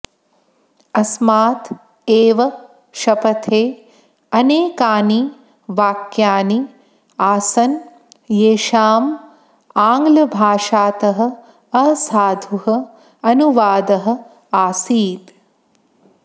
अस्मात् एव शपथे अनेकानि वाक्यानि आसन् येषाम् आङ्ग्लभाषातः असाधुः अनुवादः आसीत्